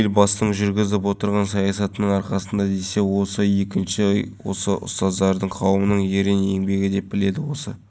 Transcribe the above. бұрынғы темір ойыншықтарға қарағанда балаларыма осылай ыңғайлы мен үш баланың анасымын осы жерге күнде келіп балаларымды